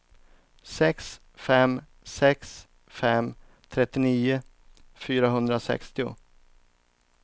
sex fem sex fem trettionio fyrahundrasextio